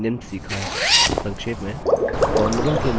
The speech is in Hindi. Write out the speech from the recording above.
हमने निम्न सीखा है संक्षेप में